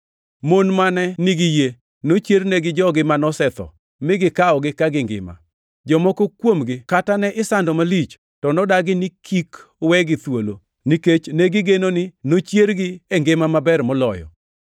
Mon mane nigi yie nochiernegi jogi manosetho mi gikawogi ka gingima. Jomoko kuomgi kata ne isando malich to nodagi ni kik wegi thuolo, nikech negigeno ni nochiergi e ngima maber moloyo.